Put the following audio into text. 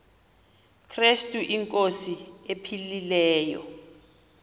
krestu inkosi ephilileyo